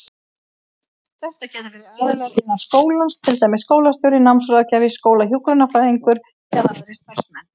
Þetta geta verið aðilar innan skólans, til dæmis skólastjóri, námsráðgjafi, skólahjúkrunarfræðingur eða aðrir starfsmenn.